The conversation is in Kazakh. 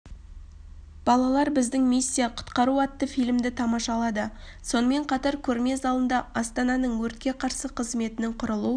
балалар біздің миссия құтқару атты фильмді тамашалады сонымен қатар көрме залында астананың өртке қарсы қызметінің құрылу